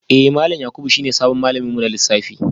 Eh malam Yakubu shine sabon malamin mu na lissafi